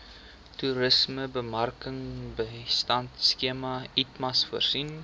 toerismebemarkingbystandskema itmas voorsien